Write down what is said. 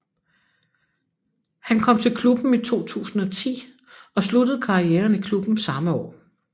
Han kom til klubben i 2010 og sluttede karrieren i klubben samme år